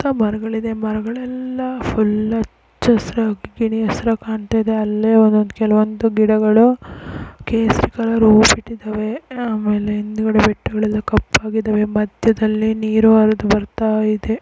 ಸುತ್ತ ಮರಗಳಿದೆ ಮರಗಳೆಲ್ಲ ಫುಲ್ ಹಚ್ಚಹಸಿರು ಗಿಣಿ ಹಸಿರಾಗಿ ಕಾಣ್ತಾ ಇದೆ ಅಲ್ಲೇ ಒಂದೊಂದು ಕೆಲವೊಂದು ಗಿಡಗಳು ಕೇಸರಿ ಕಲರ್ ಹೂವು ಬಿಟ್ಟಿದವೇ ಆ ಮೇಲೆ ಹಿಂದಗಡೆ ಬೆಟ್ಟಗಳೆಲ್ಲ ಕಪ್ಪಾಗಿದಾವೆ ಮದ್ಯದಲ್ಲಿ ನೀರು ಹರೆದು ಬರ್ತಾಯಿದೆ.